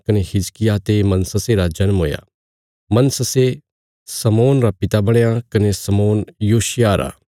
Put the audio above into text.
कने हिजकिय्याह ते मनश्शे रा जन्म हुया मनश्शे आमोन रा पिता बणया कने आमोन योशिय्याह रा